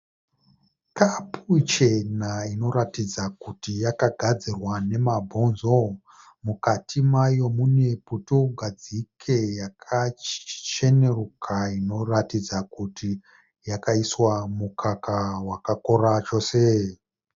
Kapu chena inoratidza kuti yakagadzirwa nemabonzo. Mukati mayo mune putugadzike yakachenuruka inoratidza kuti yakaiswa mukaka wakakora chose.